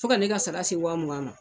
Fo ka ne ka sara se wa mugan ma.